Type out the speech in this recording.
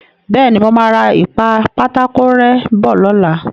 Bẹ́ẹ̀ni, mo máa ra ìpa-pátákó-rẹ́ bọ̀ lọ́la.